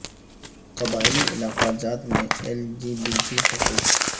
قبائلی علاقہ جات میں ایل جی بی ٹی حقوق